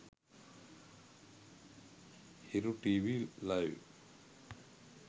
hiru tv live